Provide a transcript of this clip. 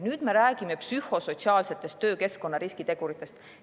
Nüüd me räägime psühhosotsiaalsetest töökeskkonna riskiteguritest.